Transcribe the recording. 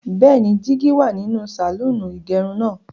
Bẹ́ẹ̀ni, jígí wà nínú sàlọ́ọ̀nì ìgẹrun náà.